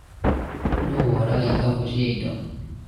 nũ woraga ikabu cia indo?